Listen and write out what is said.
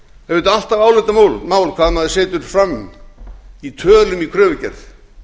auðvitað alltaf álitamál hvað maður setur fram í tölum í kröfugerð